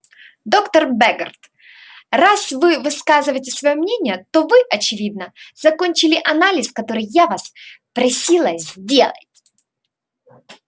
доктор бегерт раз вы высказываете своё мнение то вы очевидно закончили анализ который я вас просила сделать